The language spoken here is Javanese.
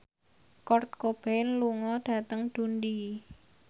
Kurt Cobain lunga dhateng Dundee